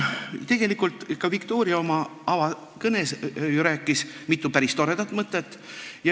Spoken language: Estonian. Tegelikult ütles ka Viktoria oma avakõnes mitu päris toredat mõtet.